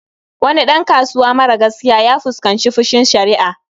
Wani ɗan kasuwa mara gaskiya ya fuskanci fushin sharia